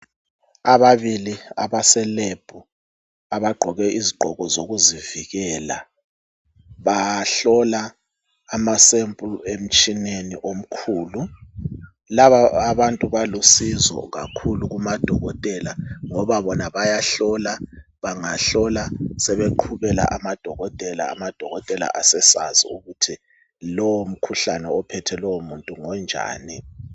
Ababili abaselab abagqoke izigqoko zokuzivikela bahlola amasempulu emtshineni omkhulu. Laba abantu balusizo kakhulu kumadokotela ngoba bona bayahlola, bangahlola sebeqhubela amadokotela, amadokotela asesazi ukuthi lowo mkhuhlane ophethe lowo muntu ngonjani.